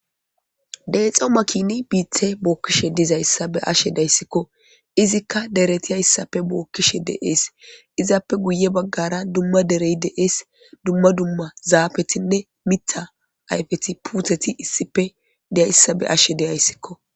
deexo makini biithe bookkishe dizayssa be ashe dayssikko izikka dereti hayssappe bookkishe de7ees izaappe guye baggara dumma derey deees dumma dumma zaafetinne mita ayfeti puutheti issife deyayssa be ashe deyayssikko